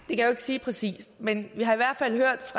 jeg jo ikke sige præcist men vi har i hvert fald hørt